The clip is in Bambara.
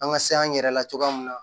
An ka se an yɛrɛ la cogoya mun na